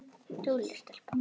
Dugleg stelpa